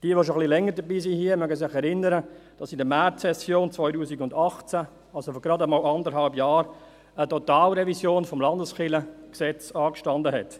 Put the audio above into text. Diejenigen, die schon etwas länger hier dabei sind, können sich erinnern, dass in der Märzsession 2018, also vor gerade anderthalb Jahren, eine Totalrevision des Gesetzes über die bernischen Landeskirchen (Landeskirchengesetz, LKG) anstand.